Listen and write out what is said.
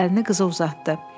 əlini qıza uzatdı.